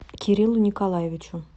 кириллу николаевичу